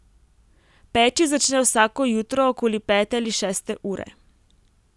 Peči začne vsako jutro okoli pete ali šeste ure.